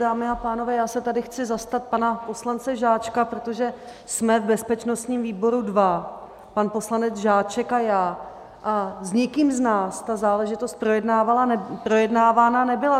Dámy a pánové, já se tady chci zastat pana poslance Žáčka, protože jsme v bezpečnostním výboru dva, pan poslanec Žáček a já, a s nikým z nás ta záležitost projednávána nebyla.